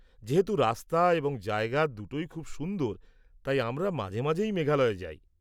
যেহেতু রাস্তা এবং জায়গা দুটোই খুব সুন্দর, তাই আমরা মাঝে মাঝেই মেঘালয়ে যাই।